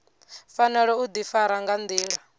fanela u difara nga ndila